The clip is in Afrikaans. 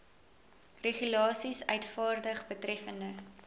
regulasies uitvaardig betreffende